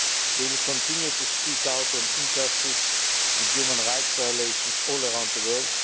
We will continue to speak out on injustice and human rights violations all around the world.